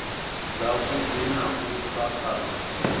dzavhuḓi na u sa kana